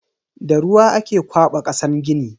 Da ruwa ake kwaba kasan gini.